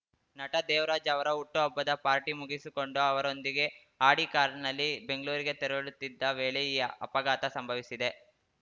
ನಟ ದೇವರಾಜ್‌ ಅವರ ಹುಟ್ಟುಹಬ್ಬದ ಪಾರ್ಟಿ ಮುಗಿಸಿಕೊಂಡು ಅವರೊಂದಿಗೆ ಆಡಿ ಕಾರಿನಲ್ಲಿ ಬೆಂಗಳೂರಿಗೆ ತೆರಳುತ್ತಿದ್ದ ವೇಳೆ ಈ ಅಪಘಾತ ಸಂಭವಿಸಿದೆ